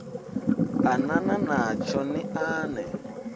anana natsho ni a ṋee